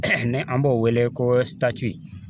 ni an b'o wele ko